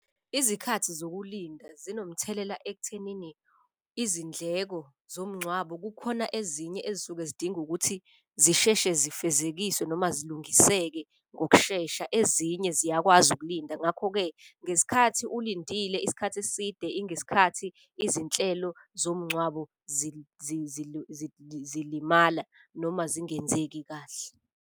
Izikhathi zokulinda zinomthelela ekuthenini izindleko zomngcwabo. Kukhona ezinye ezisuke zidinga ukuthi zisheshe zifezekiswe noma zilungiseke ngokushesha, ezinye ziyakwazi ukulinda. Ngakho-ke, ngesikhathi ulindile isikhathi eside ingesikhathi izinhlelo zomngcwabo zilimala noma zingenzeki kahle.